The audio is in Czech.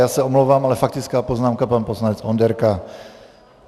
Já se omlouvám, ale faktická poznámka pan poslanec Onderka.